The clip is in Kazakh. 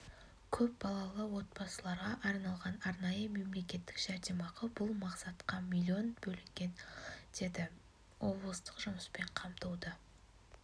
көп балалы отбасыларға арналған арнайы мемлекеттік жәрдемақы бұл мақсатқа млн бөлінген деді облыстық жұмыспен қамтуды